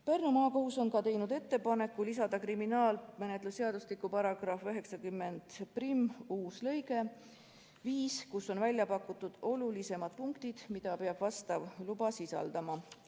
Pärnu Maakohus on teinud ettepaneku lisada kriminaalmenetluse seadustiku § 901 uus lõige 5, kus on välja pakutud olulisemad punktid, mida peab vastav luba sisaldama.